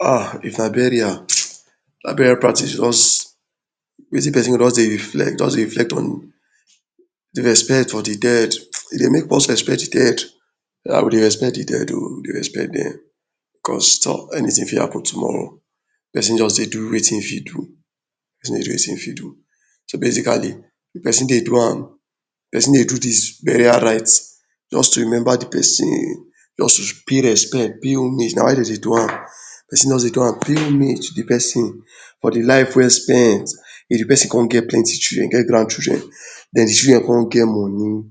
um if na burial that burial practice just wetin person go just Dey reflect just Dey reflect on de respect for de dead e Dey make us respect de dead o we Dey respect de dead o we Dey respect dem because Toh anything fit happen tomorrow person just Dey do wetin im fit do just do wetin im fit do so basically if person dey do am person Dey do dis burial right just to remember de person just to pay respect pay homage na why Dey Dey do am person just Dey do am pay homage for de person for de life well spent if de person come get plenty children get grand children den de children come get money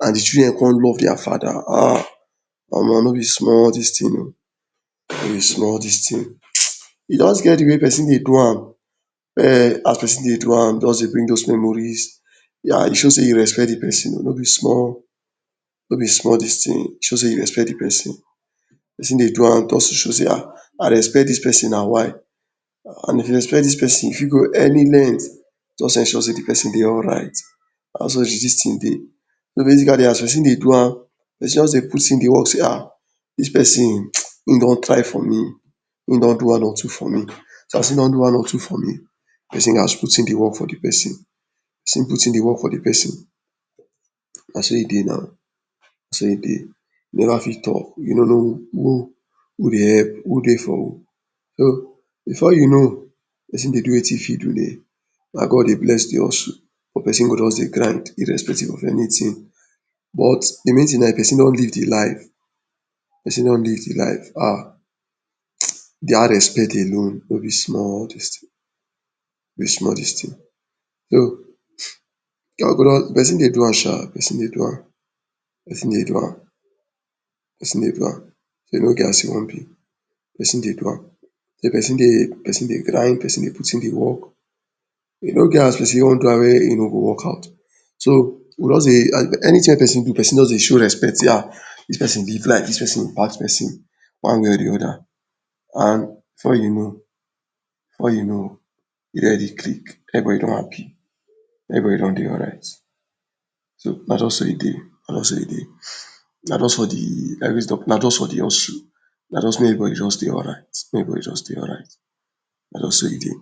and de children con love dia father um omo no be small dis thing o no be small dis thing e just get de way person Dey do am ehh as person Dey do am just Dey bring all dose memories dey show sey you respect de person no be small no be small dis thing oo e show sey person Dey do am just to show sey um I respect dis person na y and if you respect dis person you fit go any length to ensure sey de person Dey alright na so de dis thing Dey, so basically as person Dey do am e just Dey put on de work sey ah dis person im don try for me im don do one or two for me person gats put in de work for de person na so e Dey now na so e Dey you no fit talk you no no who Dey help who Dey for who before you know person Dey do wetin im fit do na God Dey bless de hustle but person go just Dey try Dey respectful of anything but de main thing na person don leave de life person don leave de life um dat respect alone no be small dis thing no be small thing person Dey do am um person Dey do am person Dey do am person Dey do am so e no get how person wan b person Dey do am person Dey try person Dey put in de work e no get as person wan go am wey im no go workout so you go just dey anything wey person just Dey show respect sey um dis person don live life person pass person one way or de oda before you know before you know im don already click every body don Dey happy every body don Dey alright so na just so e dey na just so e Dey na just for de hustle na just make everybody don Dey alright na just so e Dey.